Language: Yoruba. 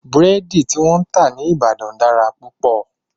Búrẹ́dí tí wọ́n ń tà ní Ìbàdàn dára púpọ̀.